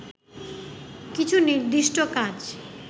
কিছু নির্দিষ্ট কাজ